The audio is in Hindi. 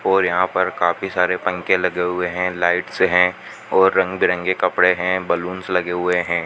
और यहां पर काफी सारे पंखे लगे हुए हैं लाइट्स से हैं और रंग बिरंगे कपड़े हैं बलूंस लगे हुए हैं।